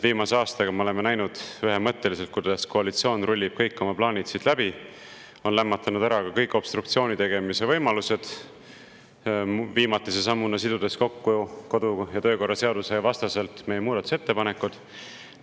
Viimase aastaga me oleme ühemõtteliselt näinud, kuidas koalitsioon rullib kõik oma plaanid siit läbi, on lämmatanud kõik obstruktsiooni tegemise võimalused, viimatise sammuna siis sidudes kodu- ja töökorra seaduse vastaselt meie muudatusettepanekud kokku.